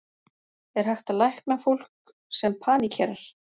Er hægt að lækna fólk sem paníkerar?